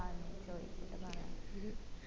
ആ നീ ചോയിച്ചിട്ട് പറ